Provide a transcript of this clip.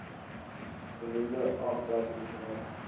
genoemde aftrekkings dra